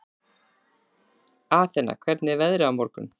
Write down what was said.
Athena, hvernig er veðrið á morgun?